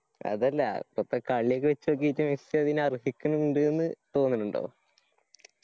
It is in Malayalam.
അതല്ല ഇപ്പോത്തെ കളിയൊക്കെ വേച്ഛ് നോക്കിയിട്ട് മെസ്സി അതിന് അര്ഹിക്കിനിണ്ട് ന്ന് തോന്നണുണ്ടോ